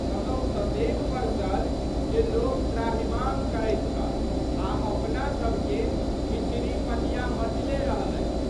कतहु ततेक बरसल जे लोक त्राहिमाम करैत छल आ अपनासभके छिछरी-पटिया मचले रहलै।